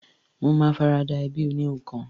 Mo ma farada ẹbí oníhun kan